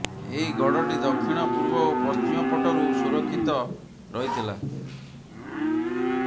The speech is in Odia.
ଏହି ଗଡ଼ଟି ଦକ୍ଷିଣ ପୂର୍ବ ଓ ପଶ୍ଚିମ ପଟରୁ ସୁରକ୍ଷିତ ରହିଥିଲା